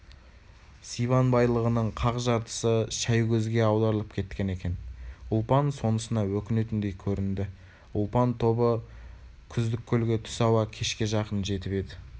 сибан байлығының қақ жартысы шәйгөзге аударылып кеткен екен ұлпан сонысына өкінетіндей көрінді ұлпан тобы күздік көлге түс ауа кешке жақын жетіп еді